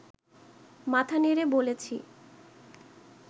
মাথা নেড়ে বলেছি